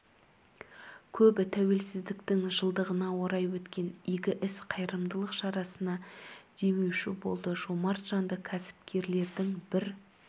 көбі тәуелсіздіктің жылдығына орай өткен игі іс қайырымдылық шарасына демеуші болды жомарт жанды кәсіпкерлердің бір